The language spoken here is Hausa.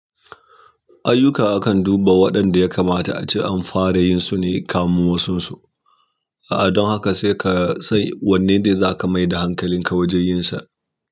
Ayyuka akan duba waɗanda ya kamata a ce an fara yin su ne kamun wasunsu. A'a, don haka sai ka san wanne za ka mai da hankalinka wajen yin sa.